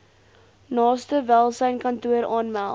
naaste welsynskantoor aanmeld